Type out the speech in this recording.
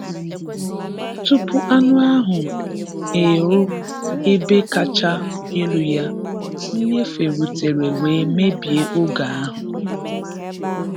Tupu anụ ahụ erụ ebe kachaa elụ ya, nnyefe rutere wee mebie oge ahụ.